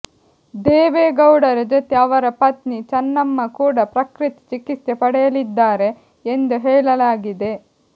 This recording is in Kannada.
ದೇವೇಗೌಡರ ಜೊತೆ ಅವರ ಪತ್ನಿ ಚನ್ನಮ್ಮ ಕೂಡ ಪ್ರಕೃತಿ ಚಿಕಿತ್ಸೆ ಪಡೆಯಲಿದ್ದಾರೆ ಎಂದು ಹೇಳಲಾಗಿದೆ